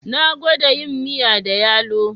Na gwada yin miya da yalo